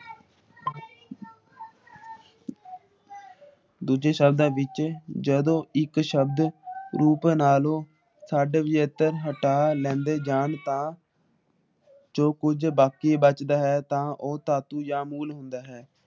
ਦੂਜੇ ਸ਼ਬਦ ਵਿੱਚ ਜਦੋ ਇੱਕ ਸ਼ਬਦ ਹਟਾ ਲੈਂਦੇ ਜਾਨ ਤਾ ਜੋ ਕੁੱਜ ਬਾਕੀ ਬੱਚਦਾ ਹੈ ਤਾ ਉਹ ਧਾਤੂ ਜਾ ਮੂਲ ਹੁੰਦਾ ਹੈ ।